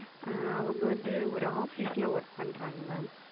ஆஹ் அவங்க வந்து ஓர் Office ல Work பண்றாங்க Ma'am.